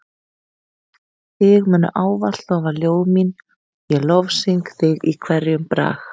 Þig munu ávallt lofa ljóð mín ég lofsyng þig í hverjum brag.